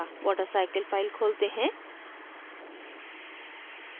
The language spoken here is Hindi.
watercycle file खोलते हैं